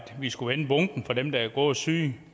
vi skulle vende bunken for dem der er både syge